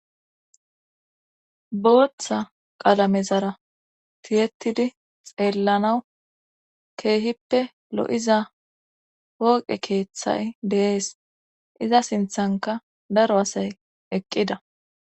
Booththa qalame zara tiyetidi xeellanawu keehippe lo'iza pooqe keeththay deees iza sinthanka daro asay eqqida.